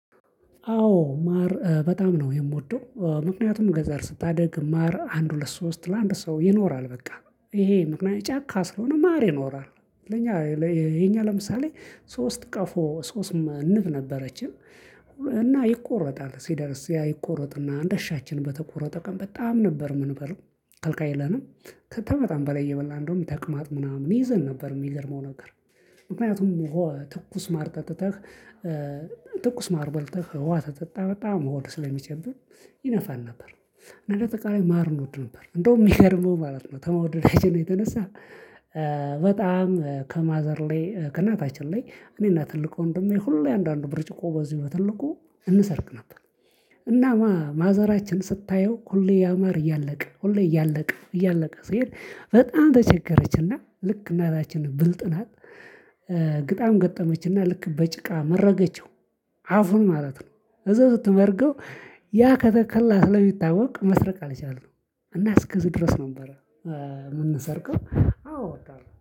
አዎ ማር በጣም ነው የምወደው። ምክንያቱም ገጠር ስታድግ ማር አንድ ሁለት ሶስት ለአንድ ሰው ይኖራል በቃ ይሄ ምክንያቱም ጫካ ስለሆነ ማር ይኖራል። ለእኛ ይሄ እኛ ለምሳሌ ሶስት ቀፎ ሶስት ንብ ነበረችን። እና ይቆረጣል ሲደርስ ያ ይቆረጥና እንደሻችን በተቆረጠ ቀን በጣም ነበር የምንበለው ከልካይ የለንም። ከተ በጣም በላይ እየበላን እንደውም ተቅማጥ ምናምን ይዘን ነበር የሚገርመው ነገር። ምክንያቱም ትኩስ ማር ጠጥተህ ትኩስ ማር በልተህ ውሃ ከጠጣህ በጣም ሆድ ስለሚችል ይነፋን ነበር። እና እንደ አጠቃላይ ማር እንወድ ነበር እንደውም ሚገርመው ማለት ነው ከመውደደችን የተነሳ። በጣም ከማዘር ላይ ከእናታችን ላይ እኔና ትልቁ ወንድሜ ሁሌ አንዳንድ ብርጭቆ በዚህ በትልቁ እንሰርቅ ነበር። እናማ ማዘራችን ስታየው ሁሌ ያማር እያለቀ ሁሌ እያለቀ እያለቀ ስሄድ በጣም ተቸገረችና ልክ እናታችን ብልጥ ናት። ግጣም ገጠመችና ልክ በጭቃ መረገችው አፉን ማለት ነው። እዛው ስትመርገው ያ ከተከላ ስለሚታወቅ መስረቅ አልቻልንም። እና እስከዚህ ድረስ ነበረ የምንሰርቀው አዎ እወዳለሁ